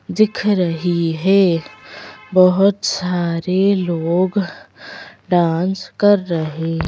दिख रही है बहुत सारे लोग डांस कर रहे हैं।